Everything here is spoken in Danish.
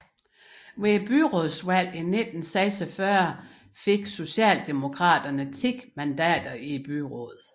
Ved byrådsvalget i 1946 fik Socialdemokraterne 10 mandater i byrådet